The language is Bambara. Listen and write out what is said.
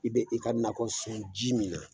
I bɛ i ka nakɔ sɔn ji min na